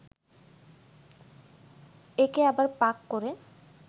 একে আবার পাক করে